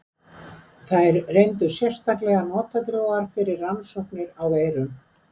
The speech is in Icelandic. Þær reyndust sérstaklega notadrjúgar fyrir rannsóknir á veirum.